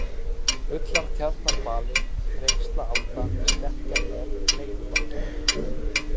Ullartjarnarbali, Þrengslaalda, Stekkjarnef, Leirubakki